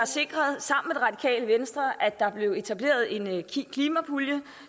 sikret at der blev etableret en klimapulje